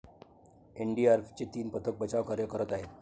एनडीआरएफचे तीन पथक बाचावकार्य करत आहेत.